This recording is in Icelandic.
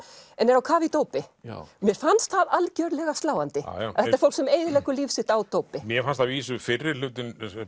en er á kafi í dópi mér fannst það algjörlega sláandi að þetta er fólk sem eyðileggur líf sitt á dópi mér fannst að vísu fyrri hlutinn